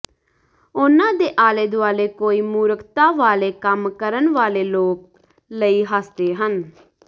ਉਨ੍ਹਾਂ ਦੇ ਆਲੇ ਦੁਆਲੇ ਕੋਈ ਮੂਰਖਤਾ ਵਾਲੇ ਕੰਮ ਕਰਨ ਵਾਲੇ ਲੋਕ ਲਈ ਹੱਸਦੇ ਹਨ